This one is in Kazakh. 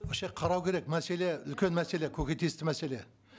вообще қарау керек мәселе үлкен мәселе көкейтесті мәселе